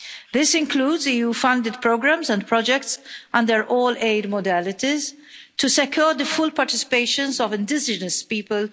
This includes EU funded programmes and projects under all aid modalities to secure the full participation of indigenous people